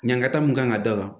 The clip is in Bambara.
Ɲagata mun kan ka da kan